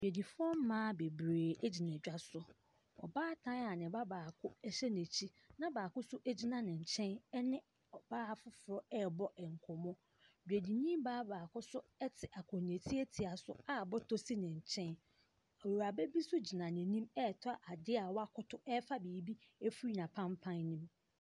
Adwadifoɔ mmaa bebree gyina dwa so. Ɔbaatan a ne baako hyɛ n'akyi na baako nso gyina ne kyɛn ne ɔbaa foforɔ rebɔ nkɔmmɔ. Dwadini baa baako nso te akonnwa tietia so a bɔtɔ si ne nkyɛn. Awuraba bi nso gyina n'anim retɔ adeɛ a wakoto refa biribi afiri n'apampan no mu.